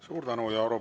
Suur tänu!